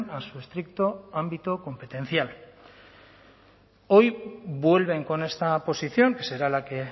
a su estricto ámbito competencial hoy vuelven con esta posición que será la que